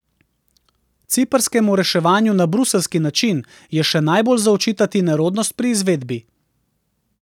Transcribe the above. Ciprskemu reševanju na bruseljski način, je še najbolj za očitati nerodnost pri izvedbi.